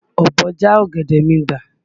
Ọ̀bọ já ọ̀gẹ̀dẹ̀ mi gbà.